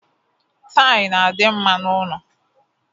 Tail na-adị mma n'ụnọ.